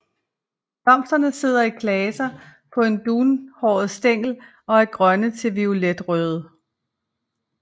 Blomsterne sidder i klaser på en dunhåret stængel og er grønne til violetrøde